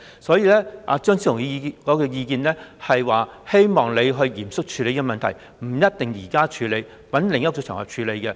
所以，張超雄議員的意見是，希望你嚴肅處理這問題，不一定現在處理，在另一個場合處理也可。